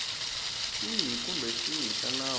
xihi kumbe xihi xa nawu